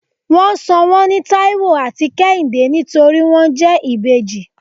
wón sò wón ní taiwo atí kehinde nítorí won jẹ ìbejí